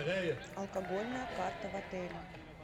алкогольная карта в отеле